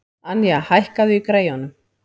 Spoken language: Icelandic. Anja, hækkaðu í græjunum.